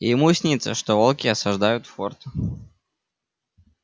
и ему снится что волки осаждают форт